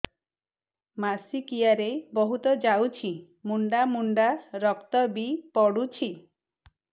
ମାସିକିଆ ରେ ବହୁତ ଯାଉଛି ମୁଣ୍ଡା ମୁଣ୍ଡା ରକ୍ତ ବି ପଡୁଛି